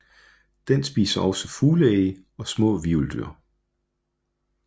Den spiser også fugleæg og små hvirveldyr